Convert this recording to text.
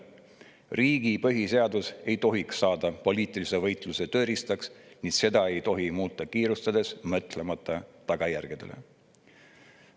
Riigi põhiseadus ei tohiks saada poliitilise võitluse tööriistaks ning seda ei tohi muuta kiirustades, mõtlemata tagajärgedele.